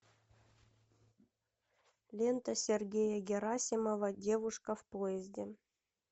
лента сергея герасимова девушка в поезде